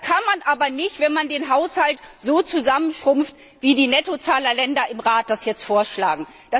Das kann man aber nicht, wenn man den Haushalt so zusammenschrumpfen lässt, wie die Nettozahlerländer im Rat das jetzt vorschlagen.